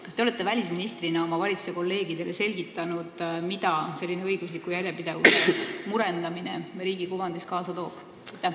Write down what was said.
Kas te olete välisministrina oma kolleegidele valitsuses selgitanud, mida selline õigusliku järjepidevuse murendamine riigi kuvandis kaasa toob?